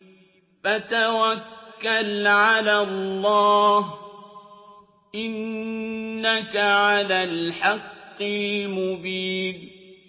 فَتَوَكَّلْ عَلَى اللَّهِ ۖ إِنَّكَ عَلَى الْحَقِّ الْمُبِينِ